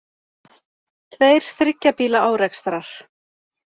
Tveir þriggja bíla árekstrar